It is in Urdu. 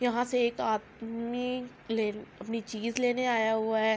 یہاں سے ایک آدمی لے اپنی چیز لینے آیا ہوا ہے۔